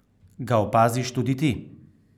Ga opaziš tudi ti?